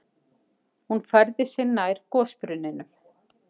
Hún færði sig nær gosbrunninum.